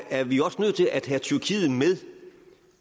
er vi også nødt til at have tyrkiet med